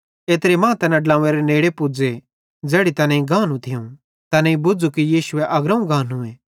एत्रे मां तैना तैस ड्लव्वें नेड़े पुज़े ज़ैड़ी तैनेईं गानू थियूं तैनेईं बुझ़ू कि यीशु अग्रोवं गानूए